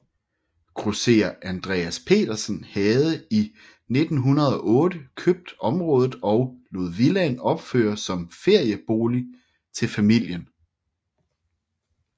Grosserer Andreas Petersen havde i 1908 købt området og lod villaen opfører som feriebolig til familien